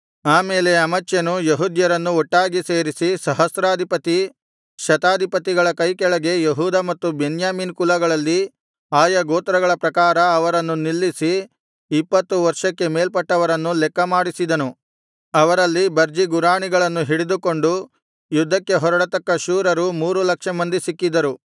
ಆಮೇಲೆ ಅಮಚ್ಯನು ಯೆಹೂದ್ಯರನ್ನು ಒಟ್ಟಾಗಿ ಸೇರಿಸಿ ಸಹಸ್ರಾಧಿಪತಿ ಶತಾಧಿಪತಿಗಳ ಕೈಕೆಳಗೆ ಯೆಹೂದ ಮತ್ತು ಬೆನ್ಯಾಮೀನ್ ಕುಲಗಳಲ್ಲಿ ಆಯಾ ಗೋತ್ರಗಳ ಪ್ರಕಾರ ಅವರನ್ನು ನಿಲ್ಲಿಸಿ ಇಪ್ಪತ್ತು ವರ್ಷಕ್ಕೆ ಮೇಲ್ಪಟ್ಟವರನ್ನು ಲೆಕ್ಕ ಮಾಡಿಸಿದನು ಅವರಲ್ಲಿ ಬರ್ಜಿ ಗುರಾಣಿಗಳನ್ನು ಹಿಡಿದುಕೊಂಡು ಯುದ್ಧಕ್ಕೆ ಹೊರಡತಕ್ಕ ಶೂರರು ಮೂರು ಲಕ್ಷ ಮಂದಿ ಸಿಕ್ಕಿದರು